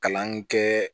Kalan kɛ